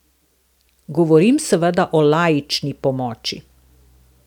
Govorim seveda o laični pomoči.